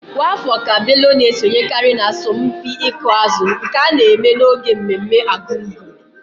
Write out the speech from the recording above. Kwa afọ ka Bello na-esonyekarị n'asọmpi ịkụ azụ nke a na-eme n'oge mmemme Argungun.